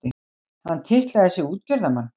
Hann titlaði sig útgerðarmann.